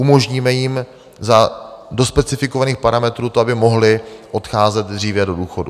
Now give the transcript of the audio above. Umožníme jim do specifikovaných parametrů to, aby mohli odcházet dříve do důchodu.